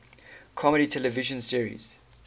comedy television series